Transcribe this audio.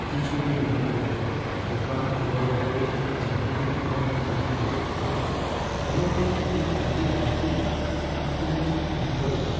ᱠᱤᱪᱷᱩ ᱫᱤᱱ ᱢᱩᱫᱽᱨᱮ ᱫᱳᱠᱟᱱ ᱠᱷᱩᱞᱟᱹᱣ ᱞᱟᱦᱟᱨᱮ ᱤᱧ ᱡᱟᱦᱟᱸ ᱛᱤᱱᱟᱹᱜ ᱜᱟᱱ ᱠᱟᱹᱢᱤ ᱢᱩᱪᱟᱹᱫ ᱦᱩᱭᱩᱜᱼᱟ, ᱚᱱᱟ ᱛᱮ ᱤᱧ ᱟᱹᱰᱤ ᱵᱟᱹᱲᱛᱤ ᱟᱹᱠᱩᱞᱞᱤᱧ ᱟᱹᱭᱠᱟᱹᱣ ᱮᱫᱟ ᱾